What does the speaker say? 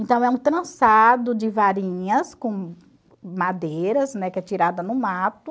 Então é um trançado de varinhas com madeiras, né, que é tirada no mato,